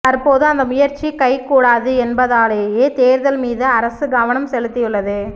தற்போது அந்த முயற்சி கைகூடாது என்பதாலேயே தேர்தல் மீது அரசு கவனம் செலுத்தியுள்ளது